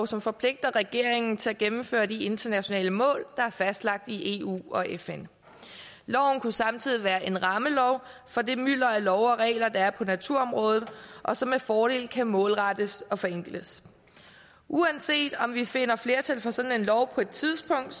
som forpligter regeringen til at gennemføre de internationale mål der er fastlagt i eu og fn loven kunne samtidig være en rammelov for det mylder af love og regler der er på naturområdet og som med fordel kan målrettes og forenkles uanset om vi finder flertal for sådan en lov på et tidspunkt